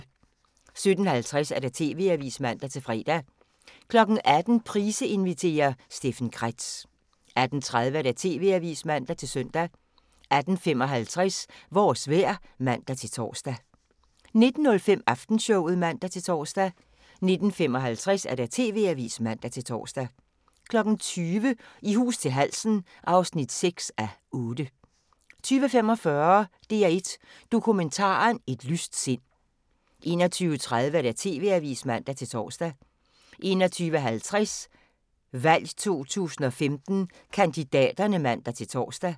17:50: TV-avisen (man-fre) 18:00: Price inviterer – Steffen Kretz 18:30: TV-avisen (man-søn) 18:55: Vores vejr (man-tor) 19:05: Aftenshowet (man-tor) 19:55: TV-avisen (man-tor) 20:00: I hus til halsen (6:8) 20:45: DR1 Dokumentaren: Et lyst sind 21:30: TV-avisen (man-tor) 21:50: VALG 2015: Kandidaterne (man-tor)